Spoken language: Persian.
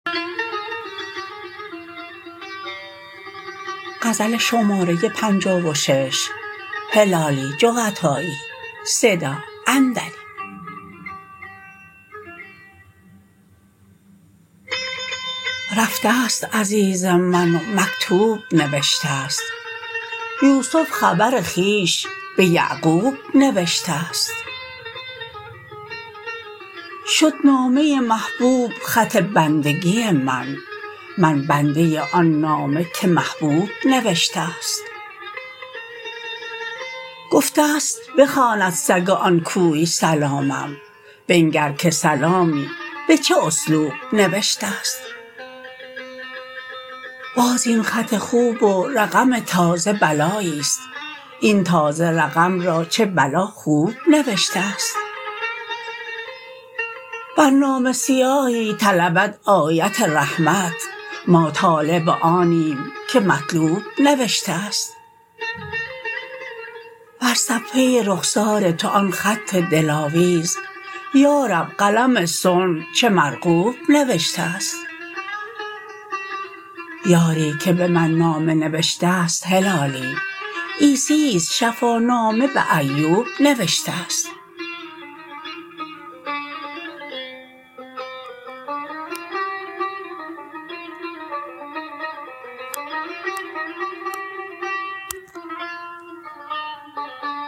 رفته ست عزیز من و مکتوب نوشته ست یوسف خبر خویش بیعقوب نوشته ست شد نامه محبوب خط بندگی من من بنده آن نامه که محبوب نوشته ست گفته ست بخواند سگ آن کوی سلامم بنگر که سلامی به چه اسلوب نوشته ست باز این خط خوب و رقم تازه بلاییست این تازه رقم را چه بلا خوب نوشته ست بر نامه سیاهی طلبد آیت رحمت ما طالب آنیم که مطلوب نوشته ست بر صفحه رخسار تو آن خط دلاویز یارب قلم صنع چه مرغوب نوشته ست یاری که به من نامه نوشته ست هلالی عیسیست شفانامه به ایوب نوشته ست